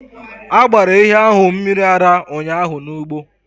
A gbara ehi ahụ mmiri ara ụnyahụ n’ugbo